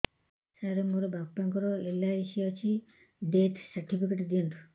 ସାର ମୋର ବାପା ଙ୍କର ଏଲ.ଆଇ.ସି ଅଛି ଡେଥ ସର୍ଟିଫିକେଟ ଦିଅନ୍ତୁ